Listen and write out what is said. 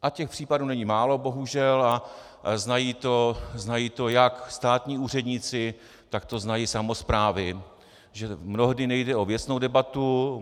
A těch případů není málo, bohužel, a znají to jak státní úředníci, tak to znají samosprávy, že mnohdy nejde o věcnou debatu.